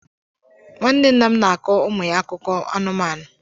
Nwanne nna m na-akọ ụmụ ya akụkọ anụmanụ.